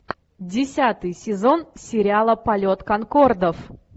десятый сезон сериала полет конкордов